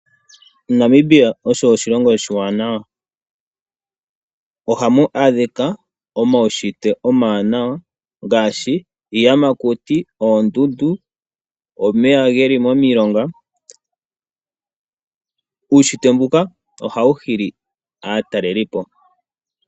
Namibia osho oshilongo oshiwanawa, ohamu adhika omaunshitwe omawanawa ngaashi iiyamakuti, oondundu, omeya geli momilonga. Uunshitwe mbuka ohawu hili aatalelipo.